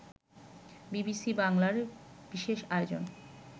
BBC বাংলার বিশেষ আয়োজন